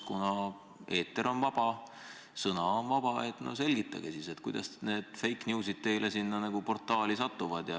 Kuna eeter on vaba, sõna on vaba, palun selgitage siis, kuidas need fake news'id teile sinna portaali satuvad.